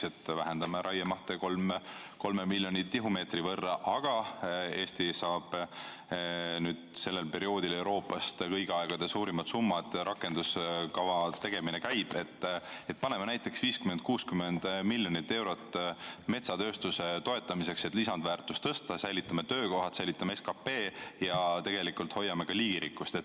Näiteks et vähendame raiemahte 3 miljoni tihumeetri võrra, aga Eesti saab sellel perioodil Euroopast kõigi aegade suurimad summad, rakenduskava tegemine käib, paneme näiteks 50–60 miljonit eurot metsatööstuse toetamisse, et lisandväärtust tõsta, säilitame töökohad, säilitame SKP ja tegelikult hoiame ka liigirikkust.